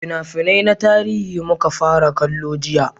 fina-finai na tarihi muka fara kallo jiya